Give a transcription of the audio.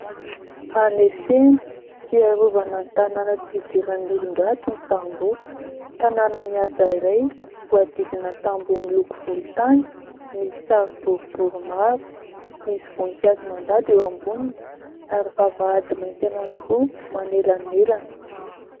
Anefena sy iarovana ny tanàna tsy hidiran'ny olon-dratsy ny tamboho. Tanàna mihaja iray voadidina tamboho miloko volontany, misy sary boribory maro, misy voninkazo mandady eo amboniny ary vavahady mainty anankiroa manelanelana.